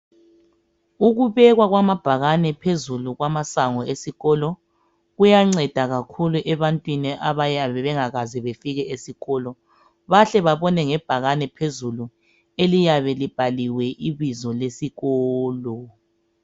Ukubekwa kwamabhakane phezulu kwamasango esikolo kuyanceda kakhulu ebantwini abayabe bengakaze befike esikolo bahle babone ngebhakane phezulu eliyabe libhaliwe ibizo lesikolo.